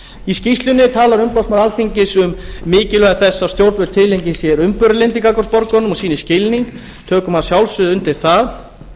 í skýrslunni talar umboðsmaður alþingis um mikilvægi þess að stjórnvöld tileinki sér umburðarlyndi gagnvart borgurunum og sýni skilning við tökum að sjálfsögðu undir það